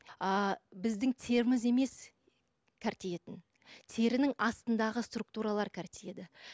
ы біздің теріміз емес терінің астындағы структуралар